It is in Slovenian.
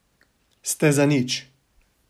Ste zanič.